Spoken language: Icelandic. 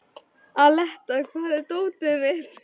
Aletta, hvar er dótið mitt?